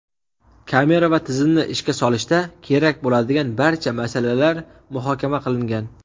kamera va tizimni ishga solishda kerak bo‘ladigan barcha masalalar muhokama qilingan.